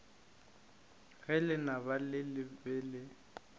ge lenaba le be le